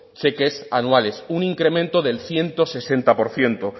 cheques anuales un incremento del ciento sesenta por ciento